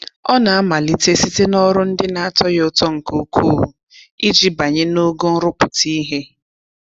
Ọ na-amalite site n'ọrụ ndị na-atọ ya ụtọ nke ukwuu iji banye n'ogo nrụpụta ihe.